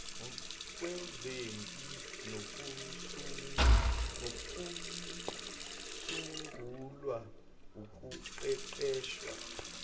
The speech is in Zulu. kwezempi nokusungulwa ukuqeqeshwa